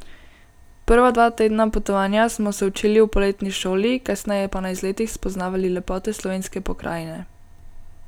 Prva dva tedna potovanja smo se učili v poletni šoli, kasneje pa na izletih spoznavali lepote slovenske pokrajine.